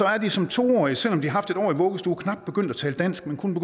er de som to årige selv om de har haft et år i vuggestue knap begyndt at tale dansk men kun